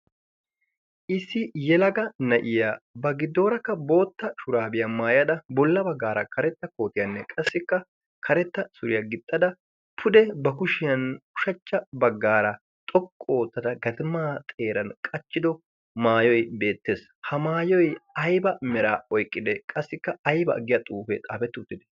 issi yelaga na'iya ba giddoorakka bootta shuraabiyaa maayada bolla baggaara karetta kootiyaanne qassikka karetta suriyaa gixxada pude ba kushiyan ushachcha baggaara xoqqu oottada gatimaa xeeran qachchido maayoy beettees ha maayoy ayba mera oyqqide qassikka ayba aggiya xuufee xaafetti uttide